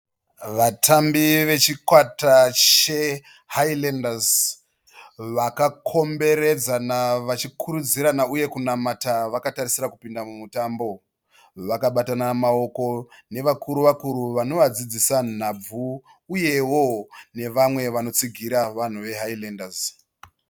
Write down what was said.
Vatambi vechikwata cheHighlanders vakakomberedzana vachikurudzirana uye kunamata vakatarisira kupinda mutambo. Vakabatana maoko nevakuru-vakuru vanovadzidzisa nhabvu uyevo nevamwe vanovatsigira vanhu vaHighlanders.